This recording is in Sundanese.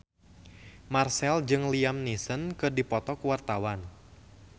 Marchell jeung Liam Neeson keur dipoto ku wartawan